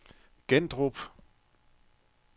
Gandrup